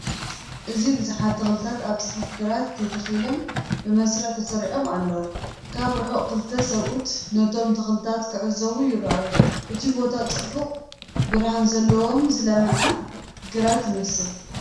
እዚ ብዙሓት ተኽልታት ኣብ ጽፉፍ ግራት ተተኺሎም፡ ብመስርዕ ተሰሪዖም ኣለዉ። ካብ ርሑቕ ክልተ ሰብኡት ነቶም ተኽልታት ክዕዘቡ ይረኣዩ፤ እቲ ቦታ ጽቡቕ ብርሃን ዘለዎን ዝለምዕ ግራት ይመስል።